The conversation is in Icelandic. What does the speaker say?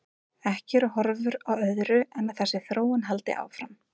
Ekki eru horfur á öðru en að þessi þróun haldi áfram.